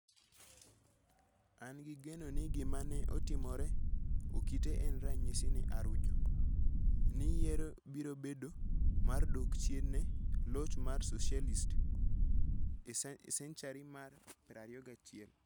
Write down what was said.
An gi geno ni gima ne otimore Okite en ranyisi ne Arujo, ni yiero biro bedo mar dok chien ne loch mar Socialist e senchari mar 21 #ArujoIvoyó2017